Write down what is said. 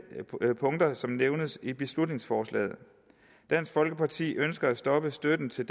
punkter som nævnes i beslutningsforslaget dansk folkeparti ønsker at stoppe støtten til